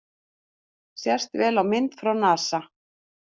Sést vel á mynd frá NASA